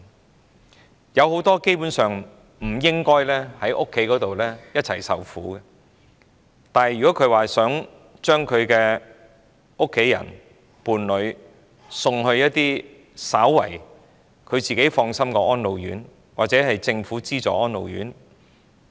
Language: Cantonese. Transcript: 他們當中有很多根本不應一同留在家中受苦，但卻無法將家人或伴侶送往能稍為令他們放心的安老院或政府資助安老院。